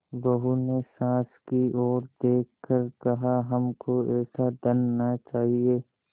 बहू ने सास की ओर देख कर कहाहमको ऐसा धन न चाहिए